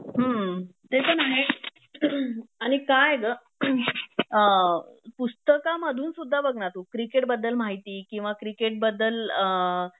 हम्म ते पण आहे आणि काय आहे ग अ पुस्तकामधून सुद्धा बघ ना तू क्रिकेटबद्दल माहिती किंवा क्रिकेटबद्दल अ